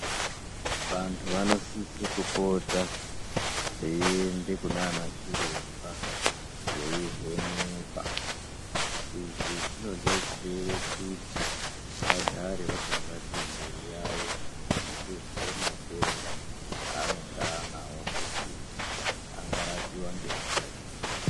Vantu vanosise kupota veiende kunanachiremba veivhenekwa. Izvi zvinobatsire kuti vagare vakangwarire mwiri yavo kuzive matenda anenge anavo kuti angarapiva ngenjira ipi.